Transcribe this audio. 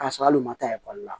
K'a sɔrɔ hali u ma taa ekɔli la